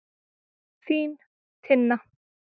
Þín, Tinna.